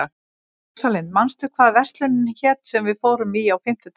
Rósalind, manstu hvað verslunin hét sem við fórum í á fimmtudaginn?